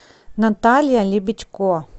наталья лебедько